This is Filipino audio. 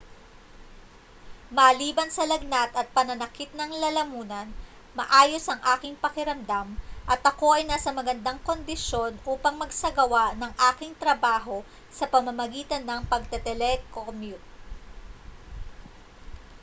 maliban sa lagnat at pananakit ng lalamunan maayos ang aking pakiramdam at ako ay nasa magandang kondisyon upang magsagawa ng aking trabaho sa pamamagitan ng pagte-telecommute